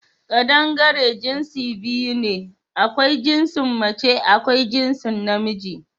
Kaɗangare jinsi biyu ne: akwai jinsin mace akwai jinsin na miji